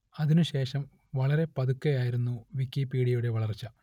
അതിനു ശേഷം വളരെ പതുക്കെ ആയിരുന്നു വിക്കിപീഡിയയുടെ വളർച്ച